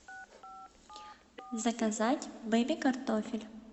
заказать бэби картофель